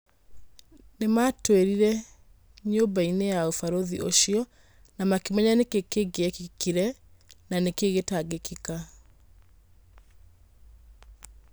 Nĩmatwĩririe nyũmbainĩ ya ũbarũthĩ ucio na makĩmenya nĩkĩĩ kĩngĩekĩkire na nikĩĩ gĩtangiĩkika.